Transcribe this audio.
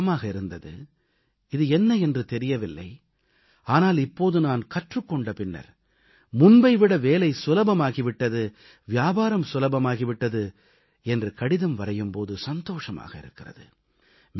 பற்றி பயமாக இருந்தது இது என்ன என்று தெரியவில்லை ஆனால் இப்போது நான் கற்றுக் கொண்ட பின்னர் முன்பை விட வேலை சுலபமாக ஆகி விட்டது வியாபாரம் சுலபமாகி விட்டது என்று கடிதம் வரையும் போது சந்தோஷமாக இருக்கிறது